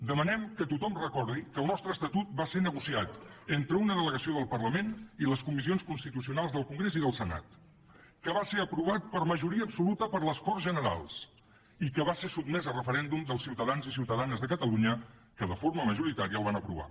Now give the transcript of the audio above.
demanem que tothom recordi que el nostre estatut va ser negociat entre una delegació del parlament i les comissions constitucionals del congrés i del senat que va ser aprovat per majoria absoluta per les corts generals i que va ser sotmès a referèndum pels ciutadans i ciutadanes de catalunya que de forma majoritària el van aprovar